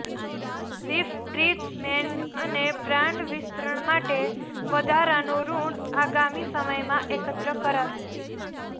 refurbishments અને brand વિસ્તરણ માટે વધારાનું ઋણ આગામી સમયમાં એકત્ર કરાશે